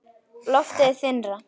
Loftið er þynnra.